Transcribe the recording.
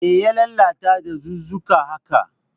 Me ya lalata dazuzzuka haka?